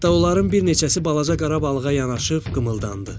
Hətta onların bir neçəsi balaca qara balığa yanaşıb qımıldandı.